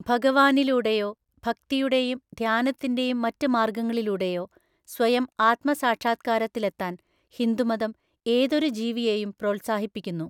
ഭഗവാനിലൂടെയോ ഭക്തിയുടെയും ധ്യാനത്തിന്റെയും മറ്റ് മാർഗങ്ങളിലൂടെയോ സ്വയം ആത്മസാക്ഷാത്കാരത്തിലെത്താൻ ഹിന്ദുമതം ഏതൊരു ജീവിയെയും പ്രോത്സാഹിപ്പിക്കുന്നു.